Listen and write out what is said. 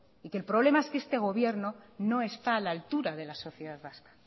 y que el problema es que este gobierno no está a la altura de la sociedad vasca